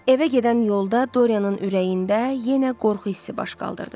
Evə gedən yolda Doryanın ürəyində yenə qorxu hissi baş qaldırdı.